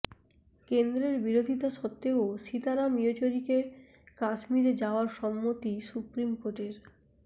কেন্দ্রের বিরোধিতা সত্ত্বেও সীতারাম ইয়েচুরিকে কাশ্মীরে যাওয়ার সম্মতি সুপ্রিম কোর্টের